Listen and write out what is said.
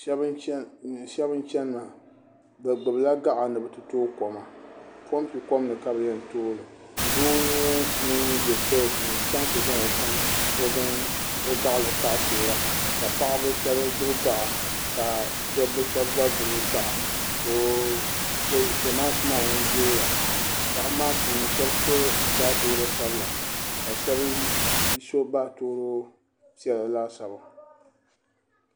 Shɛbi n chani maa bɛ gbibi la gaɣa ni bɛ ti tooi kɔm pɔmpi kɔm ni ka yen tooli doo n nye ŋun be fiɛsi ŋo n chaŋ n ti zaŋ o gaɣali n taɣi n toora paɣabi shɛbi gbibi gaɣa ka dabba shɛbi gba gbibi gaɣa soo Zamaatu maa din zooya paɣabi maa puuni shɛbi so baatooro sabla ka shɛbi so baatooro piɛla laasabu.